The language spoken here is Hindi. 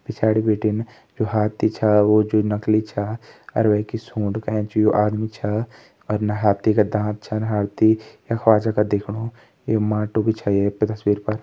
पिच्याडी भिटिन जो हाथी च वो जो नकली च और वेंकी सूंट के ऐंच जो आदमी च और जो हाथी का दांत छन हाथी खुवाजा का दिख्याणु ये माटू बी च ये तस्वीर पर।